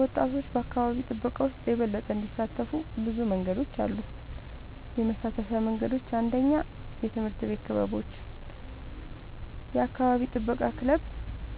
ወጣቶች በአካባቢ ጥበቃ ውስጥ የበለጠ እንዲሳተፉ ብዙ መንገዶች አሉ -የመሳተፊያ መንገዶች፦ 1. የትምህርት ቤት ክበቦች – የአካባቢ ጥበቃ ክለብ